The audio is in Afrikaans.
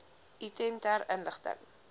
item ter inligting